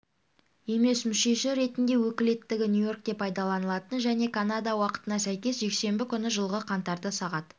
емес мүшесі ретінде өкілеттігі нью-йоркте пайдаланылатын және канада уақытына сәйкес жексенбі күні жылғы қаңтарда сағат